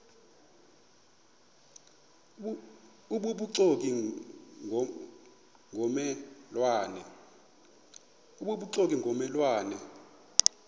obubuxoki ngomme lwane